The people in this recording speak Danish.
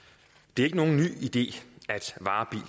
det er ikke nogen ny idé